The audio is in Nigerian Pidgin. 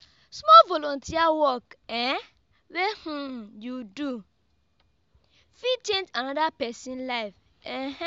small volunteer work um wey um you do fit change anoda pesin life. um